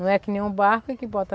Não é que nem um barco que bota